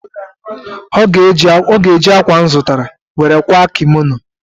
Ọ ga-eji akwa a m zụtara were kwaa kimono.